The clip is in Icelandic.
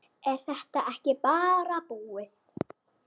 Er þetta ekki bara búið?